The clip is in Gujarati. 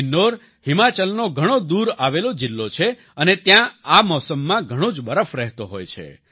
કિન્નોર હિમાચલનો ઘણો દૂર આવેલો જિલ્લો છે અને ત્યાં આ મોસમમાં ઘણો જ બરફ રહેતો હોય છે